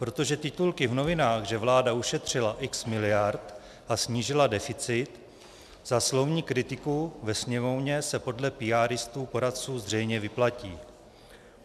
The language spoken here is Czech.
Protože titulky v novinách, že vláda ušetřila x miliard a snížila deficit, za slovní kritiku ve Sněmovně se podle píaristů, poradců, zřejmě vyplatí.